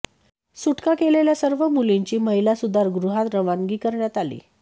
सुटका केलेल्या सर्व मुलींची महिला सुधारगृहात रवानगी करण्यात आली